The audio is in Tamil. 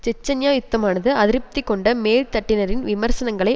செச்சன்யா யுத்தமானது அதிருப்தி கொண்ட மேல்தட்டினரின் விமர்சனங்களை